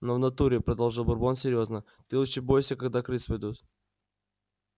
но в натуре продолжил бурбон серьёзно ты лучше бойся когда крыс ведут